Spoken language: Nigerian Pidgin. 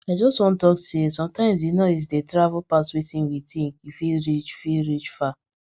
i just wan talk say sometimes di noise dey travel pass wetin we think e fit reach fit reach far